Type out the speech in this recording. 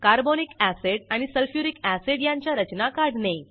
carbonic acid आणि sulphuric acid यांच्या रचना काढणे